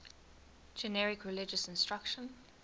generic religious instruction